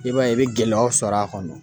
I b'a ye i bi gɛlɛyaw sɔrɔ a kɔnɔ.